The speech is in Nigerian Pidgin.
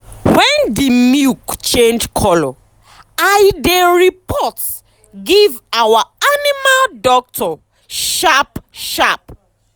wen d milk change color i dey report give our animal doctor sharp sharp